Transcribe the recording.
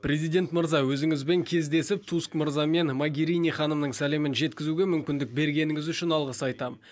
президент мырза өзіңізбен кездесіп туск мырза мен магирини ханымның сәлемін жеткізуге мүмкіндік бергеніңіз үшін алғыс айтамын